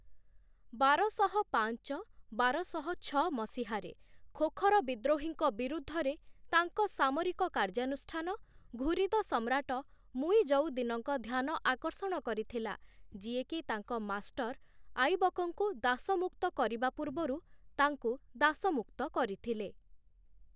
ବାରଶହ ପାଞ୍ଚ -ବାରଶହ ଛଅ ମସିହାରେ ଖୋଖର ବିଦ୍ରୋହୀଙ୍କ ବିରୁଦ୍ଧରେ ତାଙ୍କ ସାମରିକ କାର୍ଯ୍ୟାନୁଷ୍ଠାନ, ଘୁରିଦ ସମ୍ରାଟ ମୁଇଜଉଦ୍ଦିନଙ୍କ ଧ୍ୟାନ ଆକର୍ଷଣ କରିଥିଲା, ଯିଏକି ତାଙ୍କ ମାଷ୍ଟର ଆଇବକଙ୍କୁ ଦାସମୁକ୍ତ କରିବା ପୂର୍ବରୁ ତାଙ୍କୁ ଦାସମୁକ୍ତ କରିଥିଲେ ।